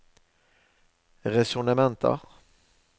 resonnementer